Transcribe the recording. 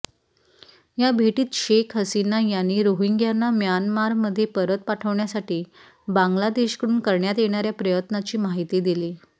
या भेटीत शेख हसीना यांनी रोहिंग्याना म्यानमारमध्ये परत पाठवण्यासाठी बांगलादेशकडून करण्यात येणाऱ्या प्रयत्नांची माहिती दिली